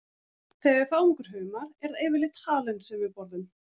Þegar við fáum okkur humar er það yfirleitt halinn sem við borðum.